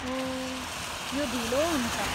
ओह यो ढिलो हुन्छ।